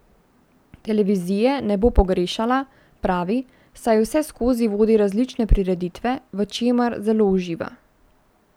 Televizije ne bo pogrešala, pravi, saj vseskozi vodi različne prireditve, v čemer zelo uživa.